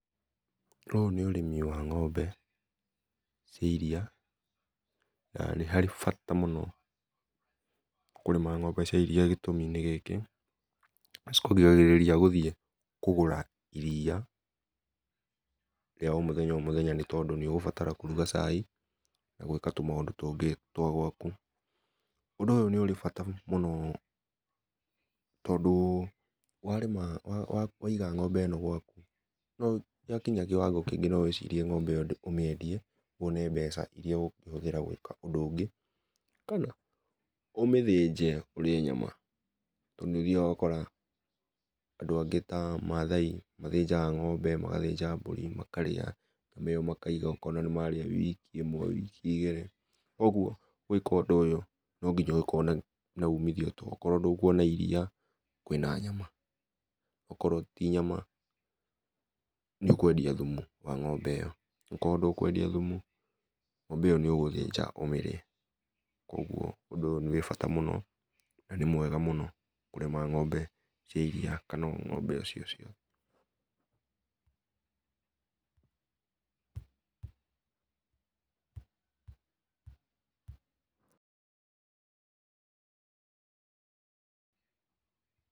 Ũyũ nĩ ũrĩmi wa ng'ombe cia iria, na nĩ harĩ bata mũno kũrĩma ng'ombe cia iria gĩtũmi nĩ gĩkĩ, nĩ cikũgiragĩrĩria gũthiĩ kũgũra iria rĩa o mũthenya nĩ tondũ nĩũgũbatara kũruga cai, na gwĩka tũmaũndũ tũngĩ twa gwaku. Ũndũ ũyũ nĩũrĩ bata mũno tondũ warĩma waiga ng'ombe ĩno gwaku, yakinya kĩwango kĩngĩ no wĩcirie ng'ombe ĩyo ũmĩendie wone mbeca iria ũgũkĩhũthĩra gwĩka ũndũ ũngĩ, kana ũmĩthĩnje ũrĩe nyama. Tondũ nĩũthiaga ũgakora andũ angĩ ta Maathai mathĩnjaga ng'ombe, magathĩnjaga mbũri makarĩa. Nyama ĩyo makaiga ũkona nĩmarĩa wiki ĩmwe, wiki igĩrĩ. Ũguo, gwĩka ũndũ ũyũ no nginya ũgĩkorwo na umithio tondũ okorwo ndũkuona iria, kwĩna nyama, okorwo ti nyama nĩ ũkwendia thumu wa ng'ombe ĩyo. Okorwo ndũwendia thumu, ng'ombe ĩyo nĩũgũthĩnja ũmĩrĩe, kuoguo ũndũ ũyũ wĩ bata mũno na nĩ mwega mũno kũrĩma ng'ombe cia iria kana o ng'ombe o cio ciothe.